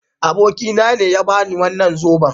Abokina ne ya ba ni wannan zoben.